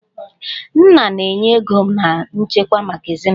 Nna na-enye ego na nchekwa maka ezinụlọ